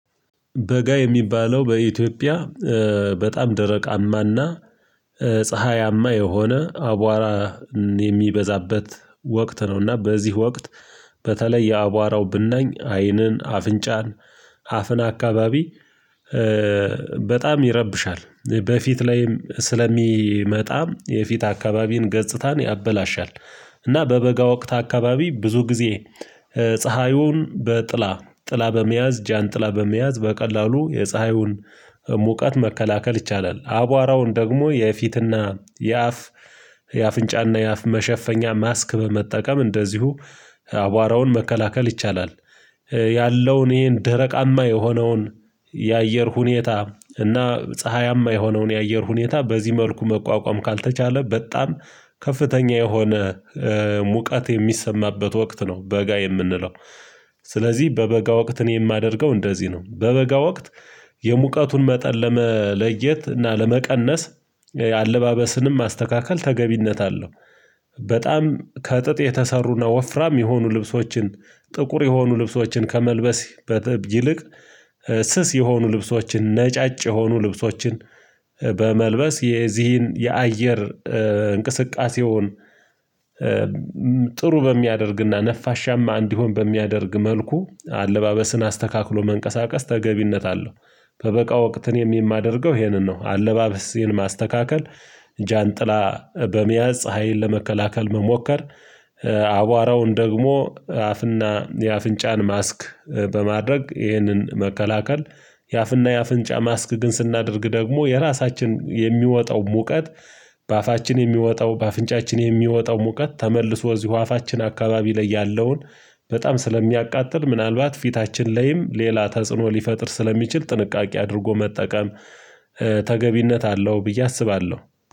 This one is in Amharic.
በጋ የሚባለው በኢትዮጵያ በጣም ደረቃማና ፀሀያማ የሆነ አቧራ የሚበዛበት ወቅት ነውና በዚህ ወቅት በተለይ የአቧራው ብናኝ አይንን አፍንጫን አፍን አካባቢ በጣም ይረብሻል በፊት ላይም ስለሚመጣ የፊት አካባቢን ገጽታን ያበላሻል እና በበጋ ወቅት አካባቢ ብዙ ጊዜ ፀሀዩን በጥላ ጥላ በመያዝ ጃን ጥላ በመያዝ በቀላሉ የፀሀዩን ሙቀት መከላከል ይቻላል አቧራውን ደግሞ የፊትና የአፍ የአፍንጫና የአፍ መሸፈኛ ማስክ በመጠቀም እንደዚሁ አቧራውን መከላከል ይቻላል ያለውን ይሄን ደረቃማ የሆነውን የአየር ሁኔታ እና ፀሀያማ የሆነውን የአየር ሁኔታ በዚህ መልኩ መቋቋም ካልተቻለ በጣም ከፍተኛ የሆነ ሙቀት የሚሰማበት ወቅት ነው በጋ የምንለው። ስለዚህ በበጋ ወቅት እኔ የማደርገው እንደዚህ ነው በበጋ ወቅት የሙቀቱን መጠን ለመለየት እና ለመቀነስ አለባበስንም ማስተካከል ተገቢነት አለው። በጣም ከጥጥ የተሰሩና ወፍራም የሆኑ ልብሶችን ጥቁር የሆኑ ልብሶችን ከመልበስ ይልቅ ስስ የሆኑ ልብሶችን ነጫጭ የሆኑ ልብሶችን በመልበስ የዚህን የአየር እንቅስቃሴውን ጥሩ በሚያደርግና ነፋሻማ እንዲሆን በሚያደርግ መልኩ አለባበስን አስተካክሎ መንቀሳቀስ ተገቢነት አለው። በበጋ ወቅት እኔም የማደርገው ይሄንን ነው አለባበስ ይሄን ማስተካከል ጃንጥላ በመያዝ ፀሀይን ለመከላከል መሞከር አቧራውን ደግሞ አፍና የአፍንጫን ማስክ በማድረግ ይህንን መከላከል። የአፍና የአፍንጫ ማስክ ግን ስናደርግ ደግሞ የራሳችን የሚወጣው ሙቀት በአፋችን የሚወጣው በአፍንጫችን የሚወጣው ሙቀት ተመልሶ እዚሁ አፋችን አካባቢ ላይ ያለውን በጣም ስለሚያቃጥል ምናልባት ፊታችን ላይም ሌላ ተጽዕኖ ሊፈጥር ስለሚችል ጥንቃቄ አድርጎ መጠቀም ተገቢነት አለው ብዬ አስባለሁ